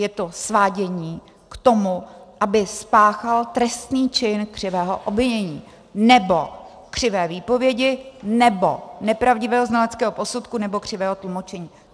Je to svádění k tomu, aby spáchal trestný čin křivého obvinění, nebo křivé výpovědi, nebo nepravdivého znaleckého posudku, nebo křivého tlumočení.